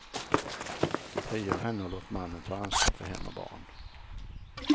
Frigör henne och låt mannen ta ansvar för hem och barn.